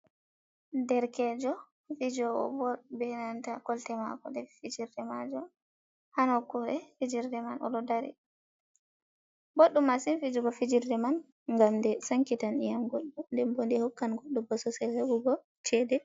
Derkejo fijowo ball, be nanta kolte mako ɗe fijirde majum ha nokkure fijirde man oɗo dari. Boɗɗum masin fijugo fijirde man ngam nde sankitan nyiyam goɗɗo, nden bo nde hokkan goɗɗo bososel heɓugo chede.